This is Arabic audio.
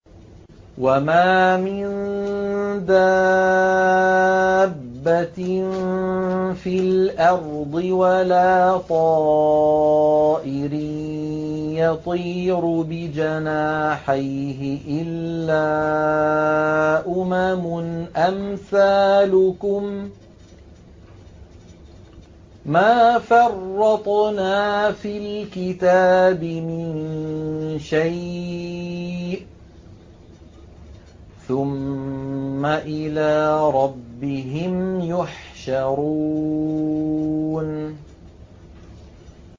وَمَا مِن دَابَّةٍ فِي الْأَرْضِ وَلَا طَائِرٍ يَطِيرُ بِجَنَاحَيْهِ إِلَّا أُمَمٌ أَمْثَالُكُم ۚ مَّا فَرَّطْنَا فِي الْكِتَابِ مِن شَيْءٍ ۚ ثُمَّ إِلَىٰ رَبِّهِمْ يُحْشَرُونَ